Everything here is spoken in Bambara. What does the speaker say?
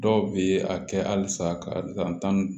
Dɔw bɛ a kɛ halisa ka taa ni